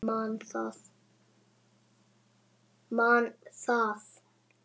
Man það.